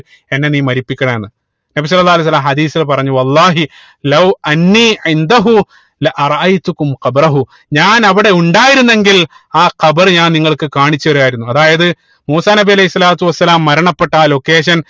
എന്നെ നീ മരിപ്പിക്കണേ എന്ന് നബി സ്വല്ലള്ളാഹു അലൈഹി വസല്ലമ ഹദീസിൽ പറഞ്ഞു വള്ളാഹി ഞാൻ അവിടെ ഉണ്ടായിരുന്നെങ്കിൽ ആ ഖബർ ഞാൻ നിങ്ങൾക്ക് കാണിച്ചു തരുമായിരുന്നു അതായത് മൂസാ നബി അലൈഹി സ്വലാത്തു വസ്സലാം മരണപ്പട്ട ആ Location